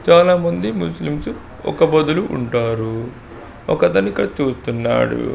చాలామంది ముస్లిమ్స్ ఒక్క పొద్దులు ఉంటారు. ఒక అతను ఇక్కడ చూస్తున్నాడు.